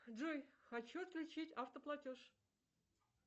джой хочу отключить автоплатеж